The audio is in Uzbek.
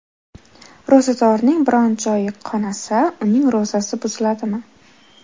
Ro‘zadorning biron joyi qonasa, uning ro‘zasi buziladimi?